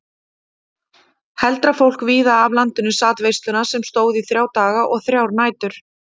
Heldra fólk víða af landinu sat veisluna sem stóð í þrjá daga og þrjár nætur.